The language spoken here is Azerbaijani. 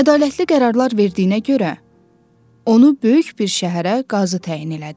Ədalətli qərarlar verdiyinə görə onu böyük bir şəhərə qazı təyin elədi.